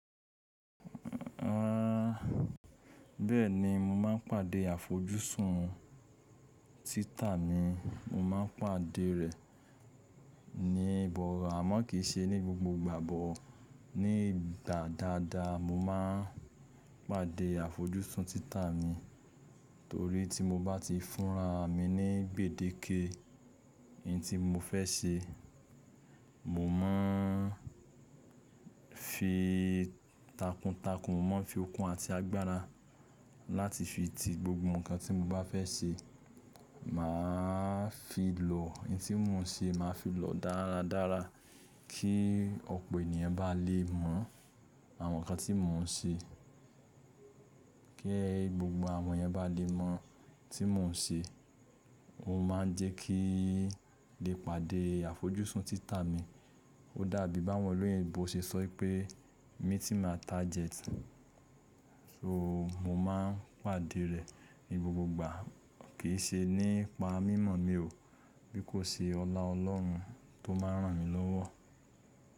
Bẹ́ẹ̀ni mo máa ń pàdé àfojúsùn títà mi, mo máa ń pàdé rẹ̀ ní ìgbọ̀rọ̀ àmọ́ kì í ṣe ní gbogbo ìgbà bọ̀. Nígbà dáadáa mo máa ń pàdé àfojúsùn títà mi torí tí mo bá ti fúnra mi ní gbèdéke n tí mo fẹ́ ṣe, mo máa ń fi takuntakun mọ́ fi okùn àti agbára láti fi ti gbogbo nǹkan tí mo bá fẹ́ ṣe. Mà á fi lọ n tí mò ń ṣe, mà á fi lọ dáradára kí ọ̀pọ̀ ènìyàn bá lè mọ àwọn nǹkan tí mò ń ṣe, kí ẹ gbogbo àwọn èèyàn bá lè mọ tí mò ń ṣe. Ó máa ń jẹ́ kí lè pàdé àfojúsùn títà mi. Ó dàbí bá wọn lóyinbó ṣe sọ pé mi mltí amd argetbjet, so mo máa ń pàdé rẹ̀ ní gbogbo ìgbà. Kì í ṣe nípa mímọ̀ mi o, bí kò ṣe ọlá Ọlọ́run tó máa ń ràn mí lọ́wọ́.